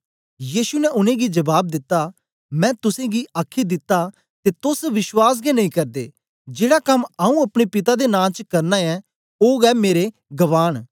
यीशु ने उनेंगी जबाब दिता मैं तुसेंगी गी आखी दित्ता ते तोस विश्वास गै नेई करदे जेड़ा कम आऊँ अपने पिता दे नां च करना ऐं ओ गै मेरे गवाह न